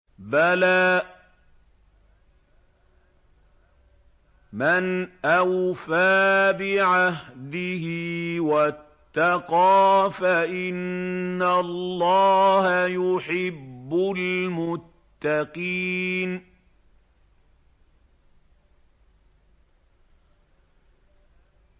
بَلَىٰ مَنْ أَوْفَىٰ بِعَهْدِهِ وَاتَّقَىٰ فَإِنَّ اللَّهَ يُحِبُّ الْمُتَّقِينَ